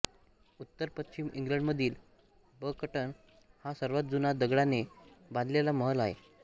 उत्तरपश्चिम इंग्लंडमधील बकटन हा सर्वात जुना दगडाने बांधलेला महल आहे